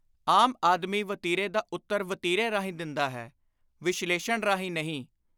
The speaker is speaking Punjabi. ਆਮ ਆਦਮੀ ਵਤੀਰੇ ਦਾ ਉੱਤਰ ਵਤੀਰੇ ਰਾਹੀਂ ਦਿੰਦਾ ਹੈ, ਵਿਸ਼ਲੇਸ਼ਣ ਰਾਹੀਂ ਨਹੀਂ।